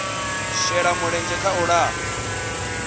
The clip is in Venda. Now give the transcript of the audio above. shela mulenzhe kha u lafha